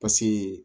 Paseke